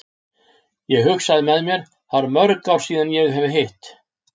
Ég hugsa með mér, það eru mörg ár síðan ég hef hitt